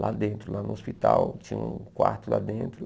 Lá dentro, lá no hospital, tinha um quarto lá dentro.